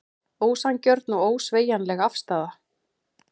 Ósanngjörn og ósveigjanleg afstaða